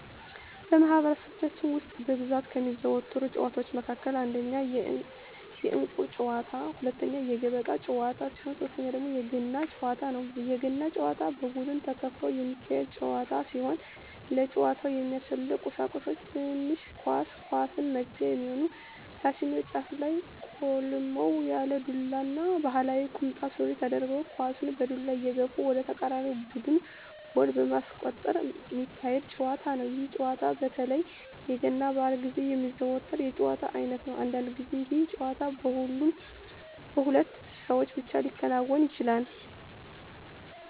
በማህበረሰባችን ውስጥ በብዛት ከሚዘወተሩ ጨዋታወች መካከል አንደኛ የእንቁር ጨዋታ፣ ሁለተኛ የገበጣ ጨዋታ ሲሆን ሶተኛው ደግሞ የገና ጨዋታ ነው። የገና ጨዋታ በቡድን ተከፍሎ የሚካሄድ ጨዋታ ሲሆን ለጨዋታው የሚያስፈልጉ ቀሳቁሶች ትንሽ ኳስ፣ ኳሷን መግፊያ የሚሆን ታችኛው ጫፉ ላይ ቆልመም ያለ ዱላ እና ባህላዊ ቁምጣ ሱሪ ተደርጎ ኳሳን በዱላ እየገፉ ወደ ተቃራኒ ቡድን ጎል በማስቆጠር ሚካሄድ ጨዋታ ነው። ይህ ጨዋታ በተለይ የገና በአል ግዜ የሚዘወተር የጨዋታ አይነት ነው። አንዳንድ ግዜ ይህ ጨዋታ በሁለት ሰው ብቻ ሊከናወን ይችላል።